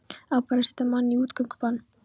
Á bara að setja mann í útgöngubann?